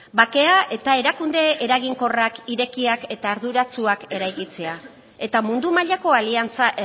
bakea eta erakunde eraginkorrak irekiak eta arduratsuak eraikitzea eta mundu mailako aliantza